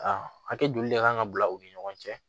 A hakɛ joli de kan ka bila u ni ɲɔgɔn cɛ